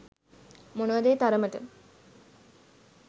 මොනවද ඒ තරමට